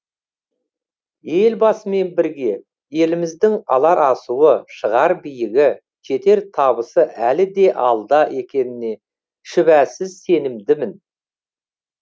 елбасымен бірге еліміздің алар асуы шығар биігі жетер табысы әлі де алда екеніне шүбәсіз сенімдімін